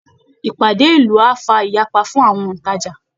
Ìpàdé ìlú á fa ìyapa fún àwọn òntajà